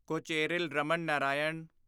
Kocheril Raman Narayan